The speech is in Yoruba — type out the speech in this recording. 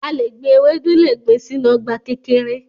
A le gbin ewedu le gbin sinu ọgba kekere